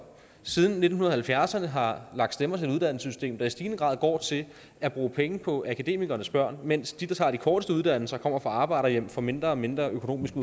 siden nitten halvfjerdserne har lagt stemmer til et uddannelsessystem der i stigende grad går til at bruge penge på akademikernes børn mens de der tager de korteste uddannelser kommer fra arbejderhjem og får mindre og mindre økonomisk i